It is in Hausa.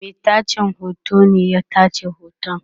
Mai tace hoto ne ya tace hoton